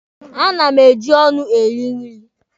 A na m eji ọnụ eri nri